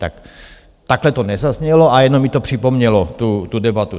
Tak takhle to nezaznělo, ale jenom mi to připomnělo tu debatu.